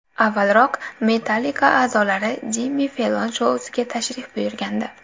Avvalroq Metallica a’zolari Jimmi Fellon shousiga tashrif buyurgandi.